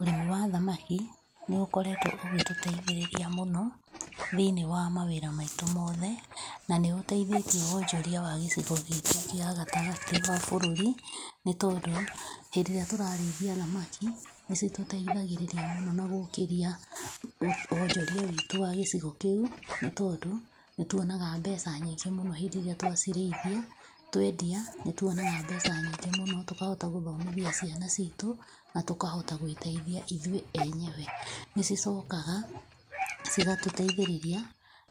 Ũrĩmi wa thamaki nĩ ũkoretwo ũgĩtũteithĩrĩria mũno thĩinĩ wa mawĩra maitũ mothe na nĩũteithĩtie wonjoria wa gĩcigo gĩkĩ gĩa gatagatĩ wa bũrũri nĩtondũ , hĩndĩ ĩria tũrarĩithia thamaki nĩ citũteithagĩrĩria mũno na gũkĩria wonjoria witũ wa gĩcigo kĩu nĩ tondũ nĩ tuonaga mbeca nyingĩ mũno hĩndĩ ĩrĩa twacirĩithia, twendia nĩ tuonaga mbeca nyingĩ mũno tũkahota gũthomithia ciana citũ na tũkahota gwĩteithia ithuĩ enyewe. Nĩ cicokaga cigatũteithĩrĩria